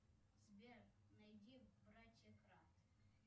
сбер найди братья кратт